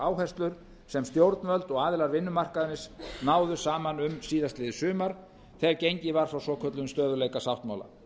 áherslur sem stjórnvöld og aðilar vinnumarkaðarins náðu saman um síðastliðið sumar þegar gengið var frá svokölluðum stöðugleikasáttmála